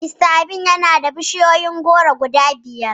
Mista Akin yana da bishiyun goro guda biyar